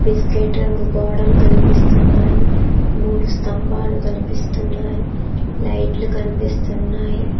Biscuit రంగు గోడలు కనిపిస్తున్నాయి మూడు స్తంభాలు కనిపిస్తున్నాయి లైట్లు కనిపిస్తున్నాయి.